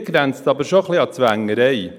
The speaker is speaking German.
Hier grenzt es aber schon etwas an Zwängerei.